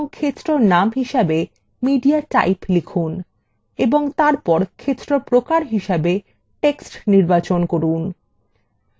এবং ক্ষেত্র name হিসেবে mediatype লিখুন এবং তারপর ক্ষেত্র প্রকার হিসাবে text নির্বাচন করুন